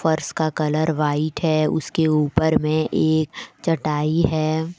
फर्श का colour white है उसके ऊपर में एक चटाई है।